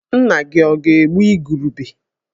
Nna-gi ọ̀ ga-egbu igurube?